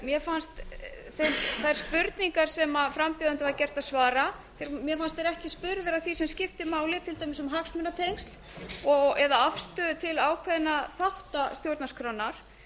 mér fannst þær spurningar sem frambjóðendum var gert að svara mér fannst þeir ekki spurðir að því sem skiptir máli til dæmis um hagsmunatengsl og eða afstöðu til ákveðinna þátta stjórnarskrárinnar